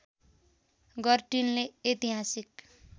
गर्टिनले ऐतिहासिक